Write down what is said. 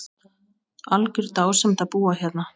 Algjör dásemd að búa hérna.